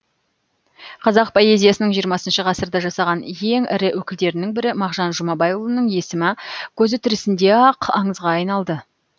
қазақ поэзиясының жиырмасыншы ғасырда жасаған ең ірі өкілдерінің бірі мағжан жұмабайұлының есімі көзі тірісінде ақ аңызға айналды